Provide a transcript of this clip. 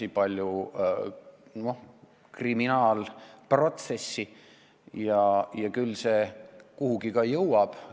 On ka olnud kriminaalprotsesse ja küll see kuhugi jõuab.